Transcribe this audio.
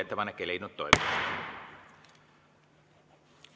Ettepanek ei leidnud toetust.